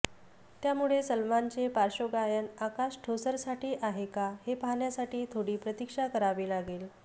त्यामुळे सलमानचे पार्श्वगायन आकाश ठोसरसाठी आहे का हे पाहण्यासाठी थोडी प्रतीक्षा करावी लागेल